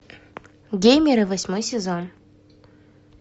геймеры восьмой сезон